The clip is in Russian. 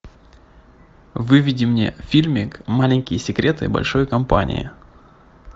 выведи мне фильмик маленькие секреты большой компании